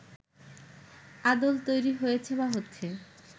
আদল তৈরি হয়েছে বা হচ্ছে